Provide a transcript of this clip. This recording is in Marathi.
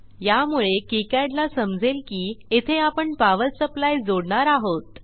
यामुळे किकाड ला समजेल की येथे आपण पॉवर सप्लाय जोडणार आहोत